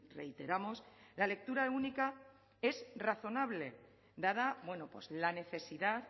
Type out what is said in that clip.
reiteramos la lectura única es razonable dada la necesidad